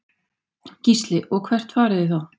Gísli: Og hvert farið þið þá?